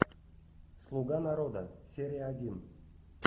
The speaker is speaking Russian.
слуга народа серия один